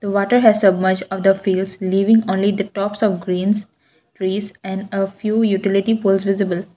water has so much of the feels leaving only the tops of green grass and a few utility poles visible.